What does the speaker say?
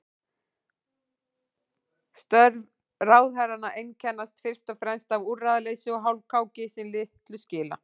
Störf ráðherranna einkennast fyrst og fremst af úrræðaleysi og hálfkáki sem litlu skila.